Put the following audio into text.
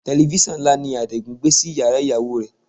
Tẹlifísàn ńlá ni Adigun gbé sí yàrá ìyàwó rẹ̀